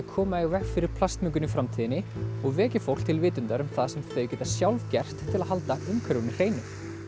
koma í veg fyrir plastmengun í framtíðinni og vekja fólk til vitundar um það sem þau geta sjálf gert til að halda umhverfinu hreinu